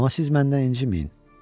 Amma siz məndən inciməyin.